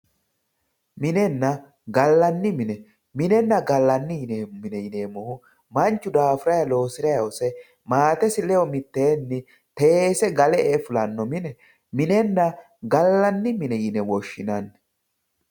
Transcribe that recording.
minenna galla mine, minenna gallanni mine yineemmohu manchu daafuranni loosirayi hose maatesi ledo mitteenni teesse galle e"e fullano mine minenna gallanni mine yine woshshinanni.